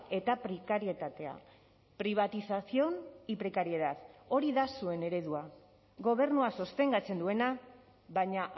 eta prekarietatea privatización y precariedad hori da zuen eredua gobernua sostengatzen duena baina